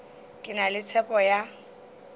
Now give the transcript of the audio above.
ke na le tshepo ya